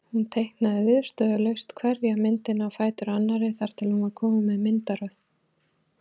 Hún teiknaði viðstöðulaust hverja myndina á fætur annarri þar til hún var komin með myndaröð.